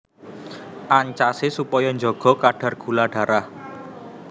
Ancasé supaya njaga kadar gula darah